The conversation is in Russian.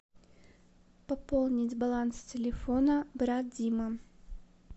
пополнить баланс телефона брат дима